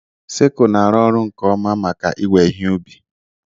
Sickle na-arụ ọrụ nke ọma maka iwe ihe ubi.